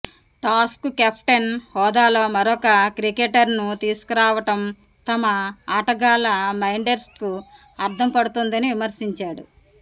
టాస్కు captain హోదాలో మరొక క్రికెటర్ను తీసుకురావడం తమ ఆటగాళ్ల మైండ్సెట్కు అర్థం పడుతోందని విమర్శించాడు